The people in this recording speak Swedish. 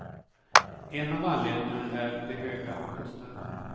En av anledningarna är de höga kostnaderna.